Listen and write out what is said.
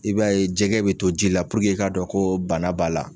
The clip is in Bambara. I b'a ye jɛgɛ bɛ to ji la puruke i k'a dɔn ko bana b'a la.